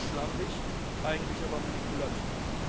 Das ist zumindest schlampig, eigentlich aber manipulativ.